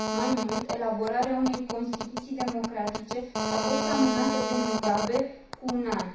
Mai mult, elaborarea unei constituții democratice a fost amânată de Mugabe cu un an.